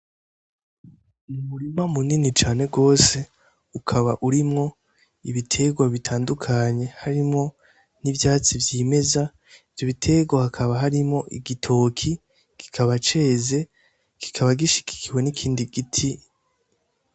N'umurima muniniya cane gose ukaba urimwo ibiterwa bitandukanye harimwo n'ivyatso vyimeza ivyo biterwa hakaba harimwo igitoki kikaba ceze kikaba gishigikiwe n'ikindi giti.